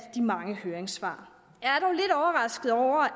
de mange høringssvar